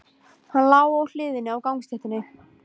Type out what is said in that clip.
Hann lá á hliðinni á gangstéttinni.